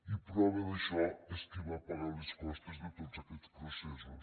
i prova d’això és qui va pagar les costes de tots aquests processos